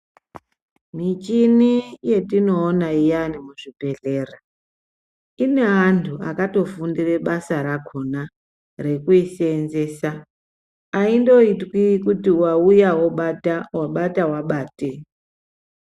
Michini yetinoona iyani muzvibhedhlera ine antu akatofundira basa rakhona kuti rekuiseenzesa aindotwi kuti wauya obata wabata wabate.